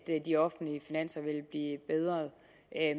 de offentlige finanser vil blive bedre